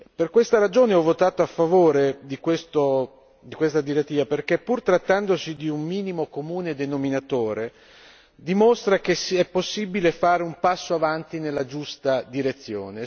Per questa ragione ho votato a favore di questa direttiva perché, pur trattandosi di un minimo comune denominatore, dimostra che è possibile fare un passo avanti nella giusta direzione.